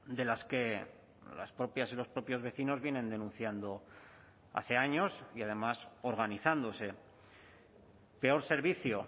de las que las propias y los propios vecinos vienen denunciando hace años y además organizándose peor servicio